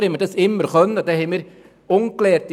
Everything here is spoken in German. Früher war uns dies immer möglich.